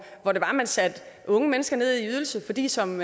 hvor man satte unge mennesker ned i ydelse fordi som